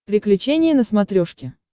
приключения на смотрешке